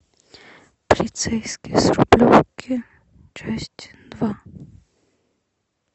полицейский с рублевки часть два